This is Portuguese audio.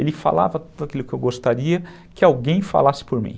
Ele falava tudo aquilo que eu gostaria que alguém falasse por mim.